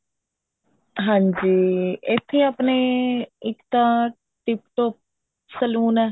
ਹਾਂਜੀ ਇੱਥੇ ਆਪਣੇ ਇੱਕ ਤਾਂ tip top saloon ਐ